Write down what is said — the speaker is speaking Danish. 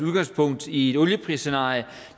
udgangspunkt i et olieprisscenarie